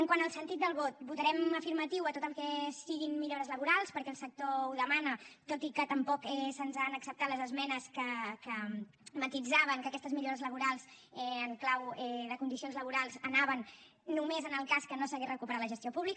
quant al sentit del vot votarem afirmatiu a tot el que siguin millores laborals perquè el sector ho demana tot i que tampoc se’ns han acceptat les esmenes que matisaven que aquestes millores laborals en clau de condicions laborals anaven només en el cas que no s’hagués recuperat la gestió pública